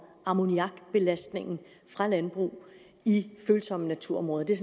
ammoniakbelastningen fra landbrug i følsomme naturområder det er